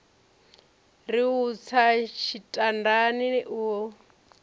ri u tsa tshitandani a